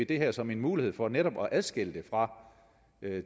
det her som en mulighed for netop at adskille det fra